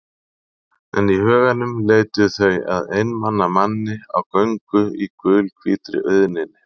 En í huganum leituðu þau að einmana manni á göngu í gulhvítri auðninni.